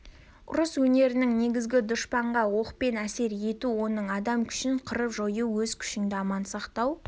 ұрыс өнерінің негізі дұшпанға оқпен әсер ету оның адам күшін қырып-жою өз күшіңді аман сақтау